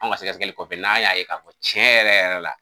Anw ka sɛgɛsɛgɛli kɔfɛ n'an y'a ye ka fɔ ko cɛn yɛrɛ yɛrɛ la.